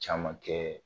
Caman kɛ